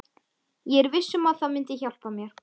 Ég er viss um að það myndi hjálpa mér.